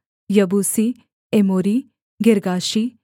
यबूसी एमोरी गिर्गाशी